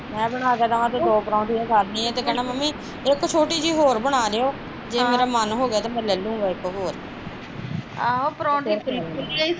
ਮੈਂ ਬਣਾ ਕੇ ਦੇਵਾ ਤੇ ਦੋ ਪਰੋਂਠੀਆ ਖਾ ਲੈਣੀਆ ਤੇ ਕਹਿਣਾ ਮੰਮੀ ਇੱਕ ਛੋਟੀ ਜਹੀ ਹੋਰ ਬਣਾ ਦਿਉ ਅਹ ਜੇ ਮੇਰਾ ਮੰਨ ਹੋਗਿਆ ਤੇ ਮੈਂ ਲੇਲਊਗਾ ਇੱਕ ਹੋਰ